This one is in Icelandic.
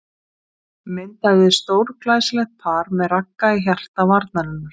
Myndaði stórglæsilegt par með Ragga í hjarta varnarinnar.